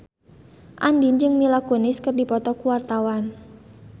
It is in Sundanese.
Andien jeung Mila Kunis keur dipoto ku wartawan